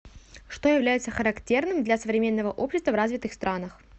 что является характерным для современного общества в развитых странах